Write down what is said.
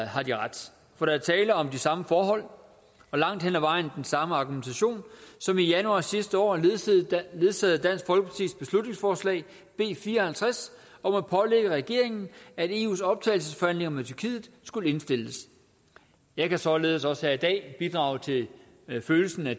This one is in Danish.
har de ret for der er tale om de samme forhold og langt hen ad vejen den samme argumentation som i januar sidste år ledsagede dansk folkepartis beslutningsforslag b fire og halvtreds om at pålægge regeringen at eus optagelsesforhandlinger med tyrkiet skulle indstilles jeg kan således også her i dag bidrage til følelsen af